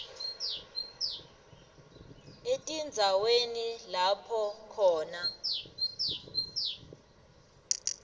etindzaweni lapho khona